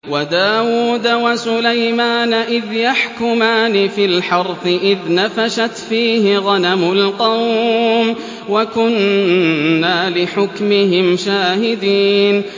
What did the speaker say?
وَدَاوُودَ وَسُلَيْمَانَ إِذْ يَحْكُمَانِ فِي الْحَرْثِ إِذْ نَفَشَتْ فِيهِ غَنَمُ الْقَوْمِ وَكُنَّا لِحُكْمِهِمْ شَاهِدِينَ